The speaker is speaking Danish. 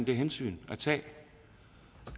det hensyn